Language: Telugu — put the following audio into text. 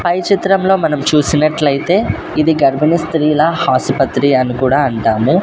పై చిత్రంలో మనం చూసినట్లయితే ఇది గర్భిణీ స్త్రీల హాసుపత్రి అని కూడా అంటాము.